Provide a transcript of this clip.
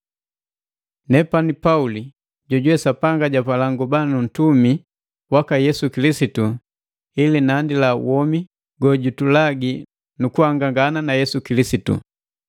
Nepani Pauli, jojuwe Sapanga japala nguba ntumi waka Yesu Kilisitu ili nandila womi gojutulagi mu kuhangangana na Yesu Kilisitu.